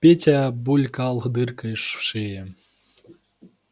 петя булькал дыркой в шее